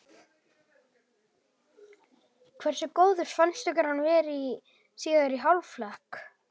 Hversu góður fannst ykkur hann vera í síðari hálfleik?